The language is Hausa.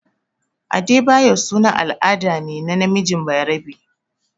Adebayo sunan al'ada ne na namiji bayarabe.